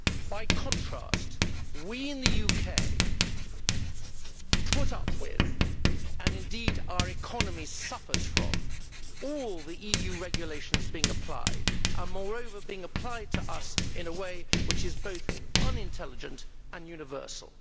By contrast, we in the UK put up with, and indeed our economy suffers from, all the EU regulations being applied and, moreover, being applied to us in a way which is both unintelligent and universal.